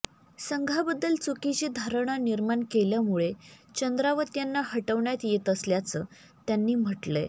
संघाबद्दल चुकीची धारणा निर्माण केल्यामुळे चंद्रावत यांना हटवण्यात येत असल्याचं त्यांनी म्हटलंय